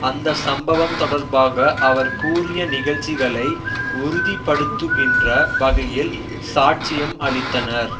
அந்த சம்பவம் தொடர்பாக அவர் கூறிய நிகழ்ச்சிகளை உறுதிபடுத்துகின்ற வகையில் சாட்சியம் அளித்தனர்